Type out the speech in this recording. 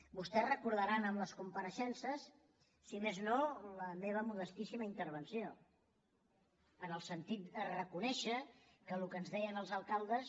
vostès deuen recordar en les compareixences si més no la meva modestíssima intervenció en el sentit de reconèixer que el que ens deien els alcaldes